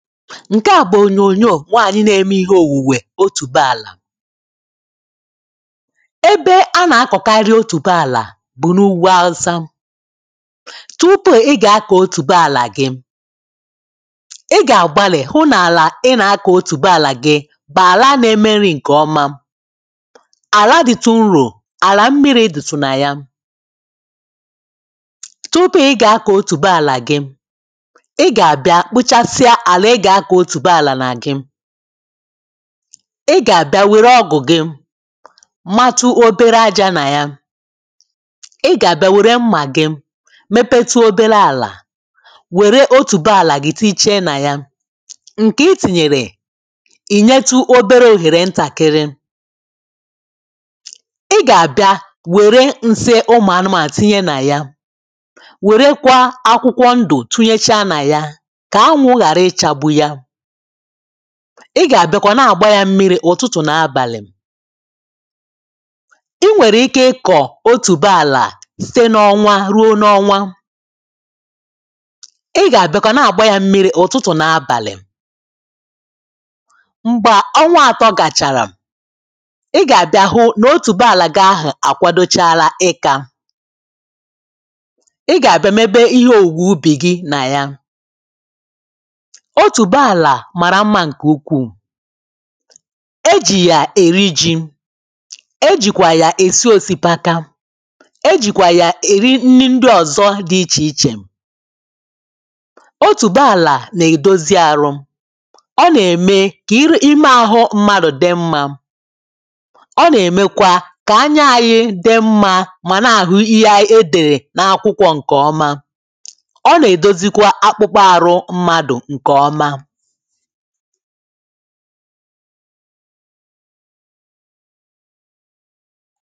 Ṇ̀ke à bụ ònyonyò nwaànyì na-eme ihe òwùwè otùbe àlà. Ebe a nà-akọ̀karị otùbe àlà bụ̀ n’ugwu awusa. Tupu ị gà-akọ̀ otùbe àlà gị. I gà-àgbalì hụ n’àlà ị nà-akọ̀ otùbe àlà gị bu àla nà-emeri ṅ̀kè ọma. Ala dị̀tụ̀ nrò, àla mmiri dị̀tụ̀tụ̀ nà ya. Tupu i gà-akọ̀ otùbe àlà gi, i gà-àbịa kpụchasịa ala i ga ako otúbo ala gị. I gà-àbịa wère ọgụ̀ gị matụ obere aja nà yà. i gà-àbịa wère mmà gi mepetu obere àlà, wère otuboàlà tinyeche nà ya. Ṇ̀kè i tinyere, ìnyetu obere òhèrè ntàkịrị. I gà-àbịa wère nsị ụmụ̀ anụmà tinye nà ya, wèrekwa akwụkwọ ndụ tinyecha nà ya kà anwụ hari ichagbu ya. I gà-àbịakwa na-àgba ya mmiri̇ ụ̀tụtụ̀ nà abàlị̀. I nwèrè ike ikọ̀ otùbe àlà site n’ọnwa ruo n’ọnwa. I gà-àbịakwa na-àgba ya mmiri̇ ụ̀tụtụ̀ nà abàlị̀. M̀gbè ọnwa àtọ gàchàrà, i gà-àbịa hụ nà otùbe àlà gahụ̀ àkwadochala ịkȧ. I gà-àbịa mebe ihe òwùwè ubì gị nà yà. Otúbe ala mara mma nke ukwu. E jì yà èri ji. E jìkwà yà èsi òsikapa. E jìkwà yà èri ndị ọ̀zọ dị ichè ichè. Otù gbaàlà nà-èdozi àhụ, ọ nà-ème kà ime àhụ mmadụ̀ dị mmȧ. Ọ nà-èmekwa kà anya anyị dị mmȧ mà na-àhụ ihe e dèrè n’akwụkwọ ǹkè ọma. Ọ nà-èdozikwa akpụkpọ àhụ mmadụ̀ ǹkè ọma.